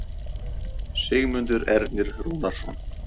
Sigmundur Ernir Rúnarsson